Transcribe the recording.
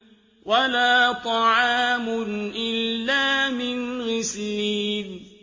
وَلَا طَعَامٌ إِلَّا مِنْ غِسْلِينٍ